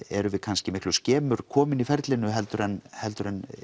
erum við kannski miklu skemur komin í ferlinu heldur en heldur en